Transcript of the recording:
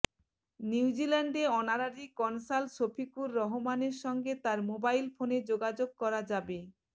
নিউজিল্যান্ডে honorary consul Shafiqur রহমানের সঙ্গে তার মোবাইল ফোনে যোগাযোগ করা যাবে